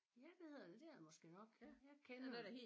Ja det hedder det det er det måske nok jeg kender det ikke